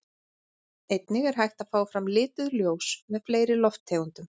Einnig er hægt að fá fram lituð ljós með fleiri lofttegundum.